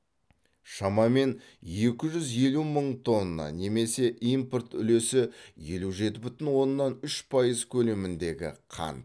шамамен екі жүз елу мың тонна немесе импорт үлесі елу жеті бүтін оннан үш пайыз көлеміндегі қант